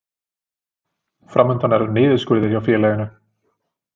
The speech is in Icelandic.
Fram undan er niðurskurður hjá félaginu